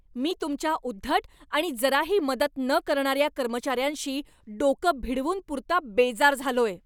मी तुमच्या उद्धट आणि जराही मदत न करणाऱ्या कर्मचाऱ्यांशी डोकं भिडवून पुरता बेजार झालोय.